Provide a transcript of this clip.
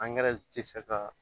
tɛ se ka